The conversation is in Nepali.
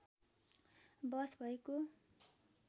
बहस भएको